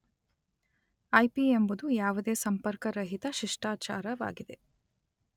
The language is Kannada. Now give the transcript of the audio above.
ಐಪಿ ಎಂಬುದು ಯಾವುದೇ ಸಂಪರ್ಕರಹಿತ ಶಿಷ್ಟಾಚಾರ ವಾಗಿದೆ.